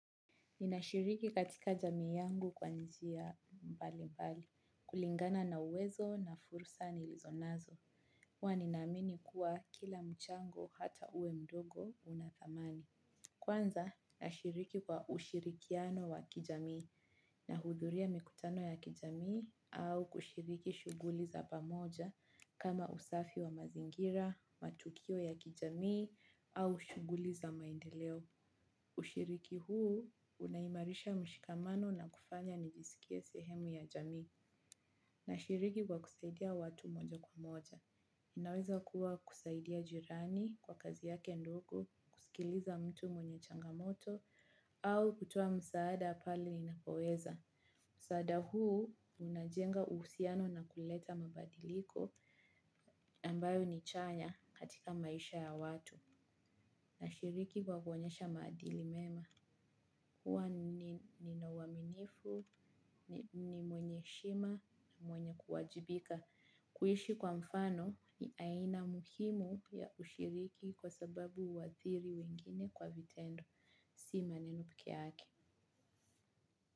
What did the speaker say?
Ninashiriki katika jamii yangu kwa njia mbali mbali, kulingana na uwezo na fursa niilizonazo. Huwa ninaamini kuwa kila mchango hata uwe mdogo unathamani. Kwanza nashiriki kwa ushirikiano wa kijamii nahudhuria mikutano ya kijamii au kushiriki shuguli za pamoja kama usafi wa mazingira matukio ya kijamii au shuguli ya maendeleo. Ushiriki huu unaimarisha mshikamano na kufanya nijisikie sehemu ya jamii nashiriki kwa kusaidia watu moja kwa moja. Inaweza kuwa kusaidia jirani kwa kazi yake ndogo, kusikiliza mtu mwenye changamoto, au kutoa msaada pale ninapoweza. Msaada huu unajenga uusiano na kuleta mabadiliko ambayo ni chanya katika maisha ya watu na shiriki kwa kuonyesha maadili mema. Hua nina uaminifu ni mwenye shima mwenye kuwajibika kuishi kwa mfano ni aina muhimu ya ushiriki kwa sababu huadhiri wengine kwa vitendo. Sima neno peke yake.